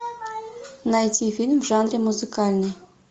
найти фильм в жанре музыкальный